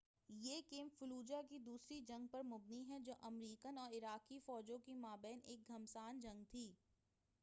یہ game Fallujah کی دوسری جنگ پر مبنی ہے جو امریکن اور عراقی فوجوں کے مابین ایک گھمسان جنگ تھی